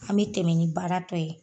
An be tɛmɛ ni baara tɔ ye.